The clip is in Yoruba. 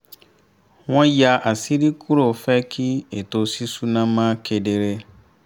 wọ́n yà àṣírí kúrò fẹ́ kí ètò ṣíṣúná mọ́ kedere